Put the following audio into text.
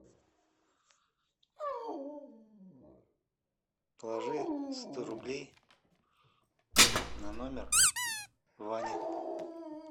положи сто рублей на номер ваня